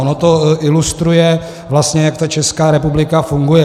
Ono to ilustruje vlastně, jak ta Česká republika funguje.